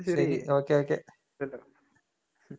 ശെരി. ഓക്കെയോക്കെ.